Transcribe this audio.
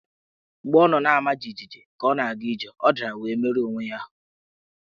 Mgbe ọ nọ na-ama jijiji ka ọ na-aga ije, ọ dara wee merụọ onwe ya ahụ́.